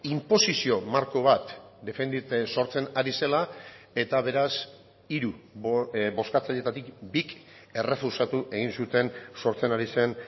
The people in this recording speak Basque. inposizio marko bat defenditzen sortzen ari zela eta beraz hiru bozkatzaileetatik bik errefusatu egin zuten sortzen ari zen